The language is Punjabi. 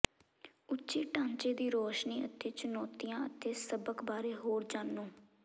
ਉੱਚੇ ਢਾਂਚੇ ਦੀ ਰੌਸ਼ਨੀ ਅਤੇ ਚੁਣੌਤੀਆਂ ਅਤੇ ਸਬਕ ਬਾਰੇ ਹੋਰ ਜਾਣੋ